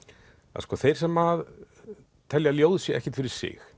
að sko þeir sem að telja að ljóð séu ekkert fyrir sig